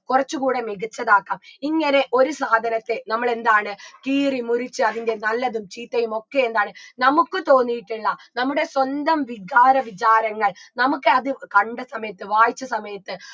കുറച്ചു കൂടെ മികച്ചതാക്കാം ഇങ്ങനെ ഒരു സാധനത്തെ നമ്മളെന്താണ് കീറിമുറിച്ച് അതിൻറെ നല്ലതും ചീത്തയും ഒക്കെ എന്താണ് നമുക്ക് തോന്നിയിട്ടുള്ള നമ്മുടെ സ്വന്തം വികാര വിചാരങ്ങൾ നമുക്കത് കണ്ട സമയത്ത് വായിച്ച സമയത്ത്